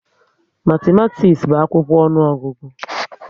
Matimatis bu akwụkwọ ọnụọgụgụ